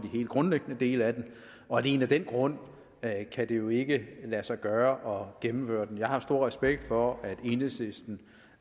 helt grundlæggende dele af dem og alene af den grund kan det jo ikke lade sig gøre at gennemføre det jeg har stor respekt for at enhedslisten